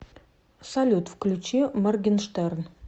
салют включи моргенштерн